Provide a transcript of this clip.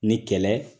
Ni kɛlɛ